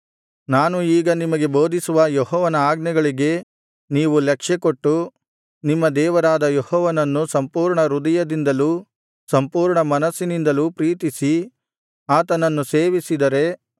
ನಾನು ಈಗ ನಿಮಗೆ ಬೋಧಿಸುವ ಯೆಹೋವನ ಆಜ್ಞೆಗಳಿಗೆ ನೀವು ಲಕ್ಷ್ಯಕೊಟ್ಟು ನಿಮ್ಮ ದೇವರಾದ ಯೆಹೋವನನ್ನು ಸಂಪೂರ್ಣ ಹೃದಯದಿಂದಲೂ ಸಂಪೂರ್ಣ ಮನಸ್ಸಿನಿಂದಲೂ ಪ್ರೀತಿಸಿ ಆತನನ್ನು ಸೇವಿಸಿದರೆ